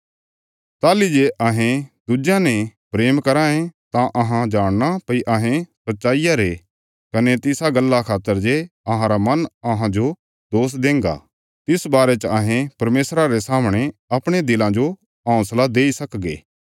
ताहली जे अहें दुज्यां ने प्रेम कराँ ये तां अहां जाणना भई अहें सच्चाईया री सन्तान ये कने तिसा गल्ला खातर जे अहांरा मन अहांजो दोष देंगा तिस बारे च अहें परमेशरा रे सामणे अपणे दिलां जो हौंसला देई सकगे